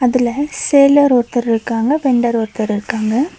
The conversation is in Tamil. அதுல செல்லர் ஒருத்தர் இருக்காங்க வெண்டர் ஒருத்தர் இருக்காங்க.